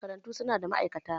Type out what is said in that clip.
Makarantu su na da ma'aikata.